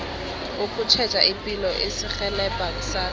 ukutjheja ipilo kuzirhelebha kusasa